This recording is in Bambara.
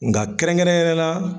Nka kɛrɛnkɛrɛnna.